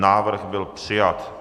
Návrh byl přijat.